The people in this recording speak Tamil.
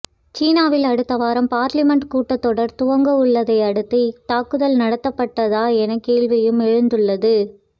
சீனாவில் அடுத்தவாரம் பார்லிமென்ட் கூட்டத்தொடர் துவங்க உள்ளதை அடுத்து இத்தாக்குதல் நடத்தபட்டதா என கேள்வியும் எழுந்துள்ளது